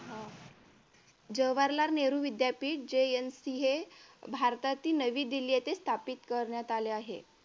अह जवाहरलाल नेहरू विद्यापीठ JNC हे भारतातील नवी दिल्ली येथे स्थापन करण्यात आले आहे.